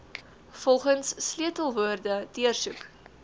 volgens sleutelwoorde deursoek